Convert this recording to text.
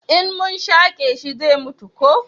in mun shake shi zai mutu ko